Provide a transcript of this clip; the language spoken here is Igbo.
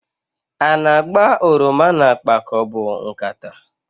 A na-agba oroma n'akpa ka ọ bụ nkata?